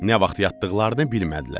Nə vaxt yatdıqlarını bilmədilər.